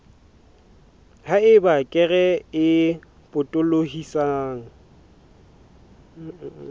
ha eba kere e potolohisang